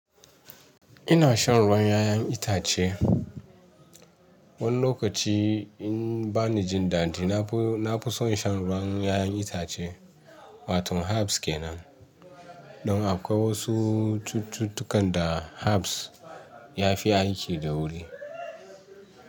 Ina shan ruwan ƴaƴan itace. Wani lokaci in bani jin dadi, na fi son shan ruwan ƴaƴan itace. Wato harbs ke nan. Don akwai wasu cututtukan da harbs ya fi aiki da wuri.